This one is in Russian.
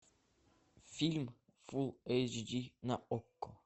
фильм фул эйч ди на окко